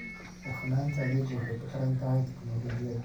Hufnaanta adeeggu waxay ku xidhan tahay tignoolajiyada.